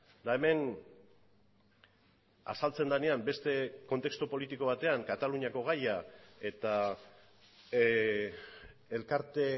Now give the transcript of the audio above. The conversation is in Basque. eta hemen azaltzen denean beste kontestu politiko batean kataluniako gaia eta elkarte